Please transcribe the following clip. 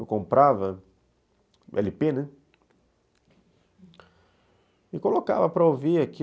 Eu comprava ele pê, né, e colocava para ouvir aquilo.